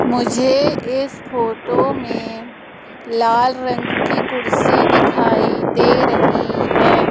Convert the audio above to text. मुझे इस फोटो में लाल रंग की कुर्सी दिखाई दे रही है।